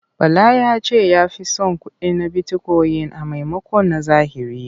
Bala ya ce ya fi son kuɗin bitikoyin a maimakon na zahiri.